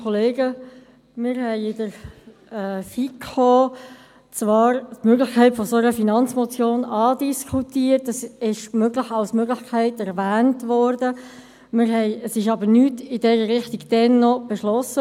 Wir haben in der FiKo die Möglichkeit einer solchen Finanzmotion zwar andiskutiert und sie als Möglichkeit erwähnt, aber es wurde noch nichts in dieser Richtung beschlossen.